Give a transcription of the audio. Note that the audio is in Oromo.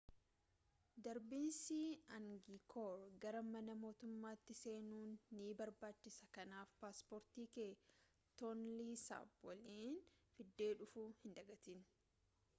darbiinsi aangikoor gara mana mootummatti seenuuf nii barbaachisaa kanaaf paasporti kee toonlii saap waliin fidee dhufuu hin dagaatin